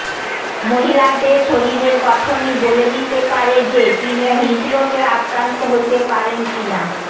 মহিলাদের শরীরের গঠনই বলে দিতে পারে যে তিনি হৃদরোগে আক্রান্ত হতে পারেন কি না